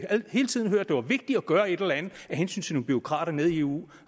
hele tiden hørt det var vigtigt at gøre et eller andet af hensyn bureaukrater nede i eu